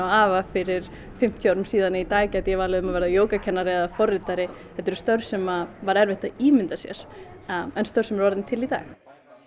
afa fyrir fimmtíu árum síðan að í dag gæti ég valið um að verða jógakennari eða forritari þetta eru störf sem væri erfitt að ímynda sér en störf sem eru orðin til í dag